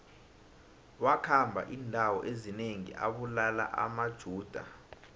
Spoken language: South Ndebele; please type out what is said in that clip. wakhamba indawo ezinengi abulala amajuda